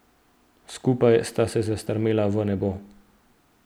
Skupaj sta se zastrmela v nebo.